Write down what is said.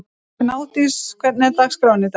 Gnádís, hvernig er dagskráin í dag?